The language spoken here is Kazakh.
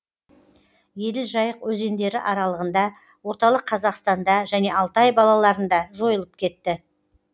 еділ жайық өзендері аралығында орталық қазақстанда және алтай балаларында жойылып кетті